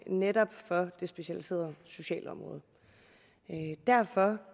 netop det specialiserede socialområde derfor